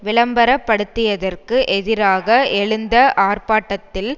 விளம்பரப்படுத்தியதற்கு எதிராக எழுந்த ஆர்ப்பாட்டத்தில்